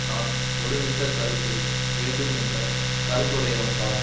நான் ஒருமித்த கருத்து வேண்டும் என்ற கருத்துடையவன்தான்